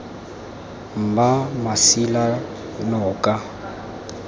mmamasilanoka